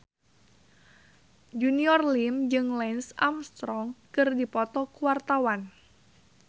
Junior Liem jeung Lance Armstrong keur dipoto ku wartawan